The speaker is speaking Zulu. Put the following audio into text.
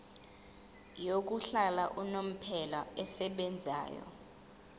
yokuhlala unomphela esebenzayo